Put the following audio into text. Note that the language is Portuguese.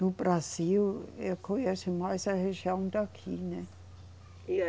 No Brasil, eu conheço mais a região daqui, né?